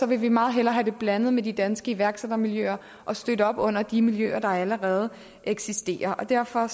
vil vi meget hellere have det blandet med de danske iværksættermiljøer og støtte op under de miljøer der allerede eksisterer derfor